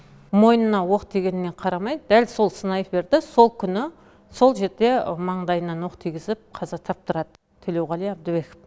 мойнына оқ тигеніне қарамай дәл сол снайперді сол күні сол жерде маңдайынан оқ тигізіп қаза таптырады төлеуғали әбдібеков